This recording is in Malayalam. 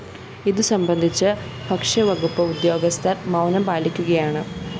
ഇതുസംബന്ധിച്ച് ഭക്ഷ്യവകുപ്പ് ഉദ്യോഗസ്ഥര്‍ മൗനം പാലിക്കുകയാണ്